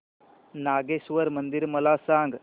नागेश्वर मंदिर मला सांग